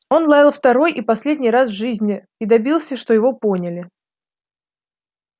он лаял второй и последний раз в жизни и добился что его поняли